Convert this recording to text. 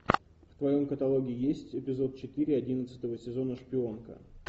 в твоем каталоге есть эпизод четыре одиннадцатого сезона шпионка